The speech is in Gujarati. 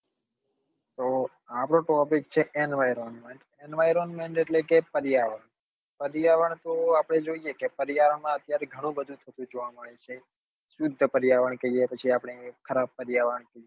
તો આપડો topic છે environment environment એટલે કે પર્યાવરણ પર્યાવરણ તો આપડે જોઈએ કે પર્યાવારણ માં અત્યારે ગણી બધી સ્તીથી જોવા મળે છે શુદ્ધ પર્યાવરણ કહીએ કે જે આપડે ખરાબ પર્યાવરણ કહીએ